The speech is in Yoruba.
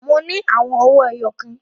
Mo ní àwọn owí ẹyọ kan.